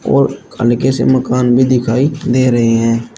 और हल्के से मकान भी दिखाई दे रहे हैं।